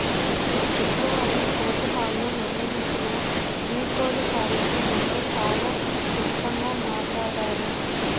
శుక్రవారం కోర్టు హాలులో నిర్వహించిన వీడ్కోలు కార్యక్రమంలో చాలా క్లుప్తంగా మాట్లాడారు